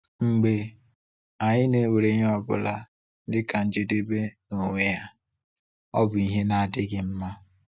Mgbe anyị na-ewere ihe ọ bụla dịka njedebe n’onwe ya, ọ bụ ihe na-adịghị mma.